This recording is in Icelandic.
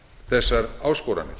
þessar áskoranir